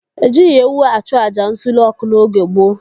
Ejighị ewu achụ àjà nsure ọkụ n'oge gboo.